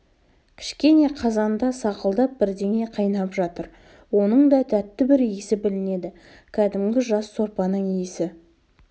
кішкене қазанда сақылдап бірдеңе қайнап жатыр оның да тәтті бір иісі білінеді кәдімгі жас сорпаның иісі